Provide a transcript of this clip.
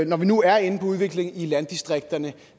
når vi nu er inde på udviklingen i landdistrikterne